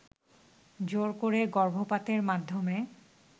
জোর করে গর্ভপাতের মাধ্যমে